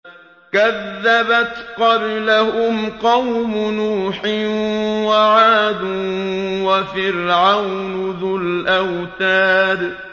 كَذَّبَتْ قَبْلَهُمْ قَوْمُ نُوحٍ وَعَادٌ وَفِرْعَوْنُ ذُو الْأَوْتَادِ